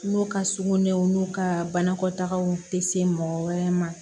N'u ka sugunɛw n'u ka banakɔtagaw tɛ se mɔgɔ wɛrɛ ma